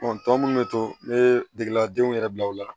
tɔ minnu bɛ to ne degela denw yɛrɛ bila o la